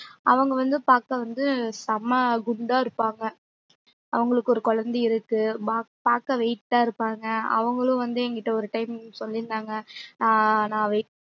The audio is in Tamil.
அவங்க வந்து பாக்க வந்து செம்ம குண்டா இருப்பாங்க அவுங்களுக்கு ஒரு குழத்தையும் இருக்கு பாக்க weight ஆ இருப்பாங்க அவங்களுக்கும் வந்து என்கிட்ட ஒரு time வந்து சொல்லி இருந்தாங்க ஆஹ்